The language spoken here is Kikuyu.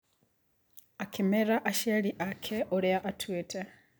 Akĩmera aciari ake ũrĩa atuĩte.